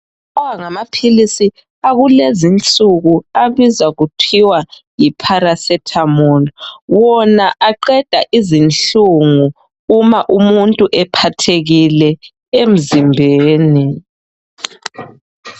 Lawa ngamaphilisi akulezinsuku abizwa kuthiwa yipharasethamolu. Wona aqeda izinhlungu uma umuntu ephathekile enzimbeni.